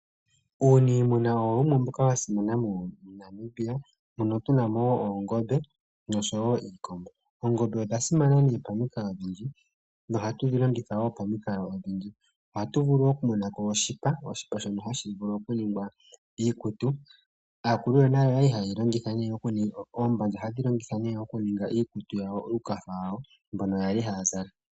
Uunimuna owo wumwe mboka wa simana moNamibia mono tu namo oongombe noshowo iikombo. Oongombe odha simana nee pomikalo odhindji noha tu dhilongitha wo pomikalo odhindji oha tu vulu okukuthako oshipa shono hashi vulu okuningwa iikutu. Aakulu yonale oyali haye yi longitha okuninga oombandja hadhi longithwa ne okuninga iikutu yawo, uukafa wawo mbono yali haya zala.